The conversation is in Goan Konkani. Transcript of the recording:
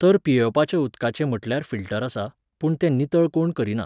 तर पियेवपाच्या उदकाचें म्हणल्यार फिल्टर आसा, पूण ते नितळ कोण करिना.